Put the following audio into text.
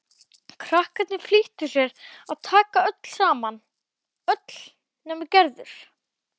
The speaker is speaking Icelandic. Krakkarnir flýttu sér að taka saman, öll nema Gerður.